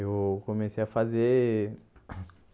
Eu comecei a fazer.